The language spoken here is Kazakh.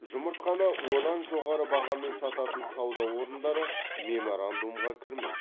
жұмыртқаны одан жоғары бағамен сататын сауда орындары меморандумға кірмейді